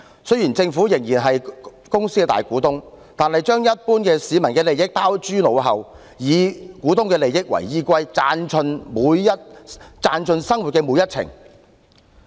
雖然政府仍然是港鐵公司的大股東，但卻將一般市民的利益拋諸腦後，以股東的利益為依歸，賺盡生活每一程。